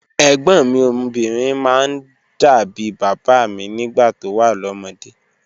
Ẹ̀gbọ́̀n mi obinrin máa ń dà bí bàbá mi nígbà tó wà lọ́mọdé.